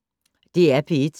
DR P1